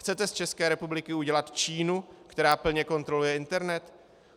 Chcete z České republiky udělat Čínu, která plně kontroluje internet?